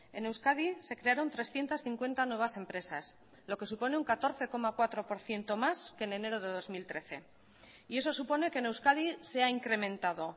en euskadi se crearon trescientos cincuenta nuevas empresas lo que supone un catorce coma cuatro por ciento más que en enero de dos mil trece y eso supone que en euskadi se ha incrementado